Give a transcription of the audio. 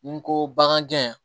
Ni n ko baganjɛ